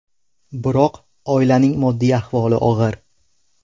Biroq oilaning moddiy ahvoli og‘ir.